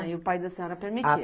Ah, e o pai da senhora permitia?